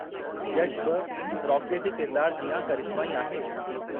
यश बि रॉकीअ जे किरदार जिआं करिश्माई आहे।